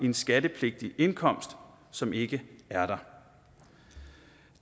en skattepligtig indkomst som ikke er der